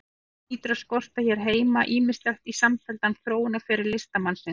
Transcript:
Því hlýtur að skorta hér heima ýmislegt í samfelldan þróunarferil listamannsins.